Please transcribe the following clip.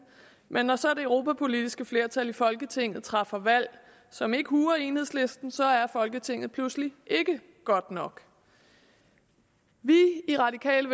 men når så det europapolitiske flertal i folketinget træffer valg som ikke huer enhedslisten så er folketinget pludselig ikke godt nok vi i radikale